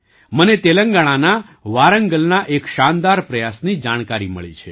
મને તેલંગાણાના વારંગલના એક શાનદાર પ્રયાસની જાણકારી મળી છે